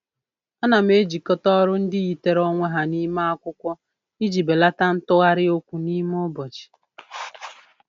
Ana m ejikọta ọrụ ndị yitere onwe ha n'ime akwụkwọ iji belata ntụgharị okwu n'ime ụbọchị.